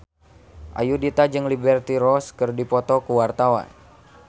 Ayudhita jeung Liberty Ross keur dipoto ku wartawan